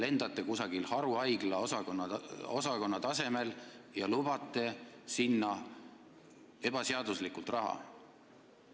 Te n-ö lendate haruhaigla osakonna tasemel ja lubate sellele ebaseaduslikult raha.